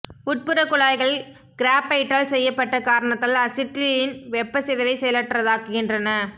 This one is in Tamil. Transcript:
உட்புற குழாய்கள் கிராபைட்டால் செய்யப்பட்ட காரணத்தால் அசிட்டிலீன் வெப்ப சிதைவை செயலற்றதாக்குகின்றன